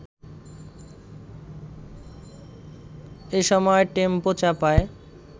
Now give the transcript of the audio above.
এসময় টেম্পো চাপায়